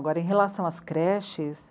Agora, em relação às creches,